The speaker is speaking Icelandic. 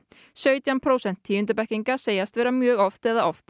sautján prósent tíundu bekkinga segjast vera mjög oft eða oft